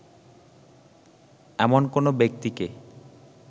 এমন কোন ব্যক্তিকে